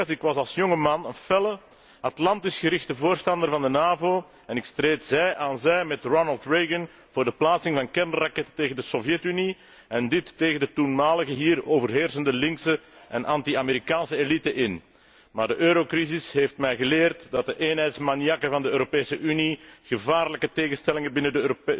Ik was als jonge man een felle Atlantisch gerichte voorstander van de NAVO en ik streed zij aan zij met Ronald Reagan voor de plaatsing van kernraketten tegen de Sovjetunie en dit tegen de toenmalige hier overheersende linkse en anti Amerikaanse elite in. Maar de eurocrisis heeft mij geleerd dat de eenheidsmaniakken van de Europese Unie gevaarlijke tegenstellingen binnen